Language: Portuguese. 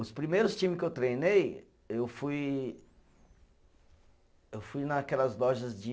Os primeiros time que eu treinei, eu fui eu fui naquelas lojas de